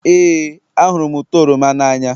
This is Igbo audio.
Éè, ahụrụ m ụtọ oroma n'anya